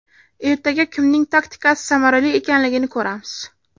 Ertaga kimning taktikasi samarali ekanligini ko‘ramiz.